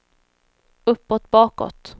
uppåt bakåt